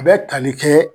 A bɛ tali kɛɛ